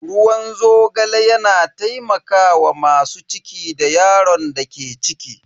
Ruwan zogale yana taimakawa masu ciki da yaron da ke ciki.